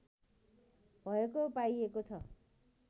भएको पाइएको छ